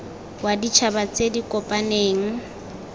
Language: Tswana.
wa ditšhaba tse di kopaneng